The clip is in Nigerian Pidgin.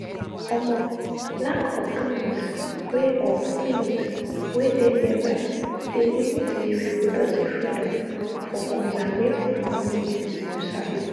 omo lack of clinics wey of clinics wey dey nearby dey limit di reproductive freedom for conservative communities you sabi.